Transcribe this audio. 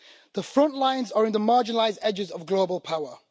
The front lines are in the marginalised edges of global power.